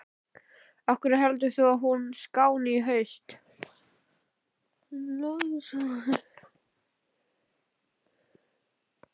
Af hverju heldur þú að hún skáni í haust?